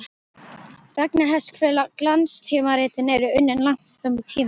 Vegna þess hve glanstímaritin eru unnin langt fram í tímann.